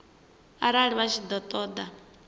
arali vha tshi ṱo ḓa